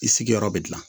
I sigiyɔrɔ bɛ dilan